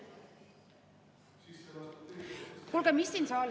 Kas ma saan vastata?